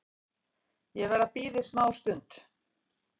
Ég verð að bíða í smá.